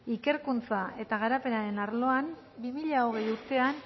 ikerkuntza eta garapenenaren arloan bi mila hogeigarrena urtean